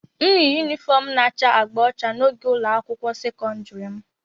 m yi yunifọm na-acha agba ọcha na oge ụlọ akwụkwọ sekọndrị m